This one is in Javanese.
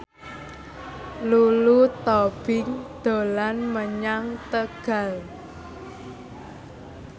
Lulu Tobing dolan menyang Tegal